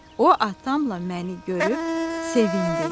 O atamla məni görüb sevindi.